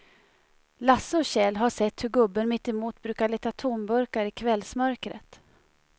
Lasse och Kjell har sett hur gubben mittemot brukar leta tomburkar i kvällsmörkret.